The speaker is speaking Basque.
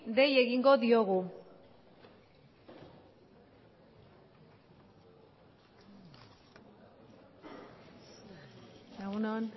dei egingo diogu egun on